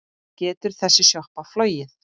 Getur þessi sjoppa flogið?